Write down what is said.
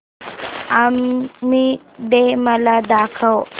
army day मला दाखव